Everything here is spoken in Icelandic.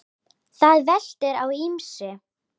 Það veltur á ýmsu.